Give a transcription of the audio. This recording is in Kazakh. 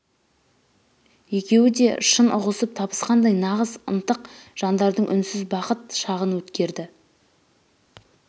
екеуі де шын ұғысып табысқандай нағыз ынтық жандардың үнсіз бақыт шағын өткерді